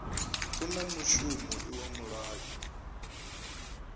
u na mushumo iwa mulayo